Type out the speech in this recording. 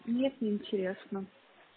нет не интересно